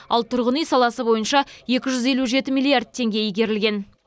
ал тұрғын үй саласы бойынша екі жүз елу жеті миллиард теңге игерілген